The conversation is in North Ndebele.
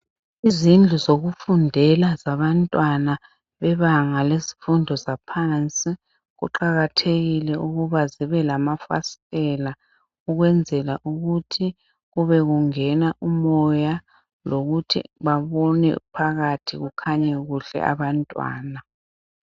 Izindlu zokufundela zabantwana bebanga bezifundo zaphansi, kuqakhathekile ukuba zibe lamafasithela ukwenzela ukuthi kube kungena umoya lokuthi babone phakathi kukhanye kuhle abantwana.